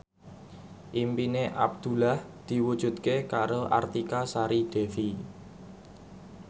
impine Abdullah diwujudke karo Artika Sari Devi